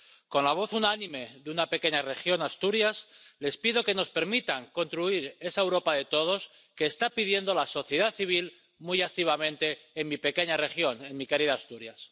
Con la voz unánime de una pequeña región, Asturias, les pido que nos permitan construir esa Europa de todos que está pidiendo la sociedad civil muy activamente en mi pequeña región, en mi querida Asturias.